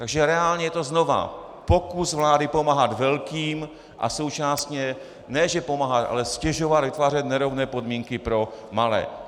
Takže reálně je to znovu pokus vlády pomáhat velkým a současně ne že pomáhat, ale ztěžovat, vytvářet nerovné podmínky pro malé.